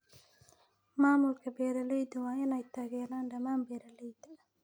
Maamulka beeralayda waa in ay taageeraan dhammaan beeralayda.